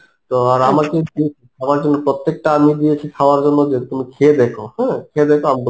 তো আর আমাকে উম আমার জন্য প্রত্যেকটা আমই দিয়েছে খাবার জন্য যে তুমি খেয়ে দেখো, হ্যাঁ, খেয়ে দেখো আমগুলো